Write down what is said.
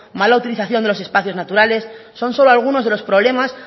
mala utilización de los espacios naturales son solo algunos de los problemas